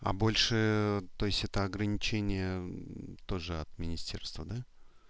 а больше то есть это ограничение тоже от министерства да